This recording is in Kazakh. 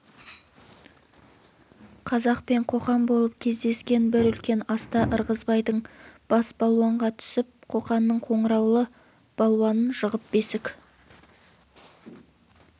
қазақ пен қоқан болып кездескен бір үлкен аста ырғызбайдың бас балуанға түсіп қоқанның қоңыраулы балуанын жығып бесік